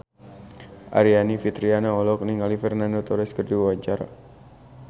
Aryani Fitriana olohok ningali Fernando Torres keur diwawancara